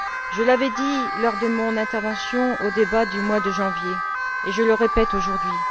Je l'avais dit, lors de mon intervention au cours du débat du mois de janvier, et je le répète aujourd'hui.